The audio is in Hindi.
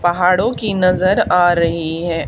पहाड़ों की नजर आ रही है।